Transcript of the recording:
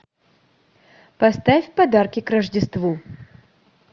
поставь подарки к рождеству